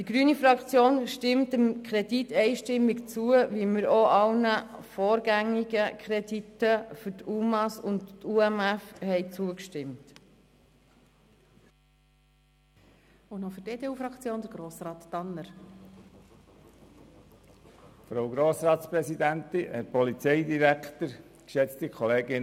Die grüne Fraktion stimmt dem Kredit einstimmig zu, so wie wir auch allen vorgängigen Krediten für die UMA und die unbegleiteten minderjährigen Flüchtlinge (UMF) zugestimmt hatten.